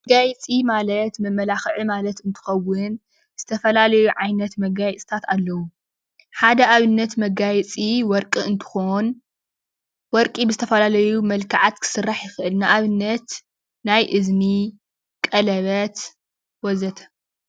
መጋየፂ ማለት መማላክዒ እንትከውን ዝተፈላለዩ ዓይነት መጋየፅታት ኣለው፡፡ ሓደ ኣብነት መጋየፂ ወርቂ እንትከውን ወርቂ ብዝተፈላለዩ መልክዓት ክስራሕ ይክእል፡፡ ንኣብነት ናይ እዝኒ፣ ቀለበት፣ ወዘተ